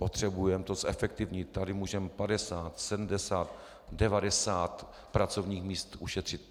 Potřebujeme to zefektivnit, tady můžeme 50, 70, 90 pracovních míst ušetřit."